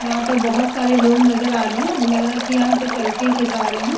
यहां पर बोहोत सारे लोग नजर आ रहे हैं लग रहा है कि यहां पर सेल्फी खींचा रहे हैं।